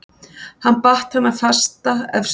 Hann batt hana fasta efst uppi.